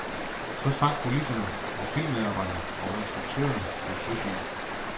Så sank kulisserne, og filmmedarbejdere og instruktør blev søsyge.